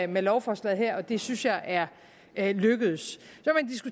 med lovforslaget her og det synes jeg er er lykkedes